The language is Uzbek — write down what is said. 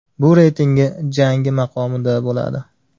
Bu reytingi jangi maqomida bo‘ladi.